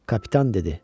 Kapitan dedi: